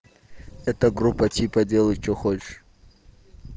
эта группа типа делай что хочешь